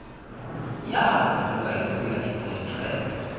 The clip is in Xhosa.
yagoduka ivuya iiphethwe